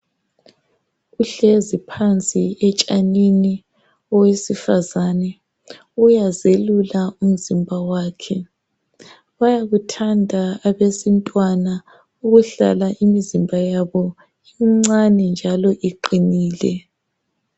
Uhlezi phansi etshanini owesifazana uyazelula umzimba wakhe bayakuthanda abesintwana ukuhlala imizimba yabo imncane njalo iqinile.